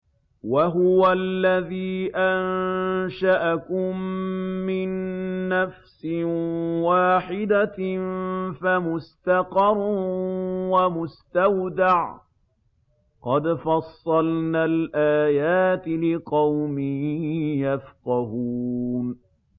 وَهُوَ الَّذِي أَنشَأَكُم مِّن نَّفْسٍ وَاحِدَةٍ فَمُسْتَقَرٌّ وَمُسْتَوْدَعٌ ۗ قَدْ فَصَّلْنَا الْآيَاتِ لِقَوْمٍ يَفْقَهُونَ